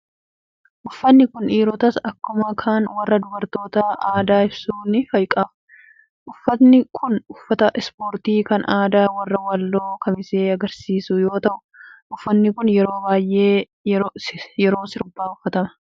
Uffatni kan dhiirotaas akkuma kan warra dubartootaa aadaa ibsu ni qaba. Uffatni kun uffata ispoortii kan aadaa warra walloo kamisee agarsiisu yoo ta'u, uffanni kun yeroo baay'ee yeroo sirbaa uffatama.